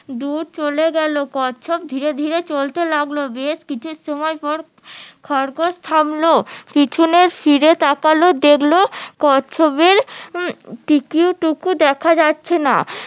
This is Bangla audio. দুর চলে গেলো কচ্ছপ ধীরে ধীরে চলতে লাগলো এর কিছু সময় পর খরগোশ থামলো পিছনে ফিরে তাকালো দেখলো কচ্ছপের দেখা যাচ্ছে না